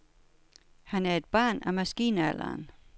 Han er et barn af maskinalderen.